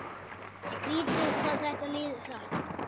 Skrítið hvað þetta líður hratt.